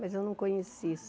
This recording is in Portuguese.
Mas eu não conheci.